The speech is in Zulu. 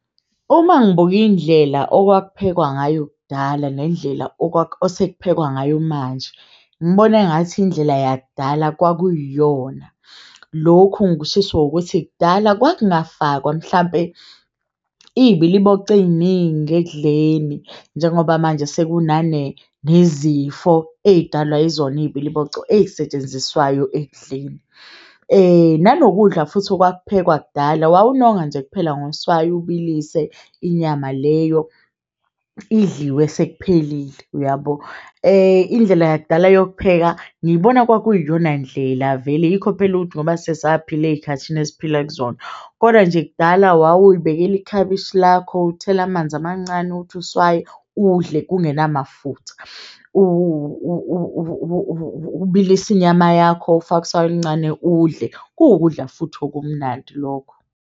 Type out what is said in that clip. Uma ngibuka indlela okwakuphekwa ngayo kudala nendlela osekuphekiwe ngayo manje ngibona engathi indlela yakudala kwakuyona. Lokhu ngikushiso ukuthi kudala kwakungafakwa mhlampe iyibiliboco eyiningi ekudleni, njengoba manje sekunane nezifo eyidalwa yizona, ibiliboco eyisetshenziswayo ekudleni nanokudla futhi okwakuphekwa kudala wawunonga nje kuphela ngoswayi ubilise inyama leyo idliwe sekuphelile uyabo indlela yakudala yokupheka ngiyibona kwakuyi yona ndlela vele. Yikho phela ukuthi ngoba sesaphila eyikhathini esiphila kuzona, koda nje kudala wawuyibekela ikhabishi lakho, uthele amanzi amancane uthi uswayi udle. Kungena mafutha ubilise inyama yakho, ufake uswayi oluncane udle kuwukudla futhi okumnandi lokho.